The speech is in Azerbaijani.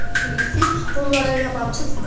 Çünki siz onlara yabancısınız.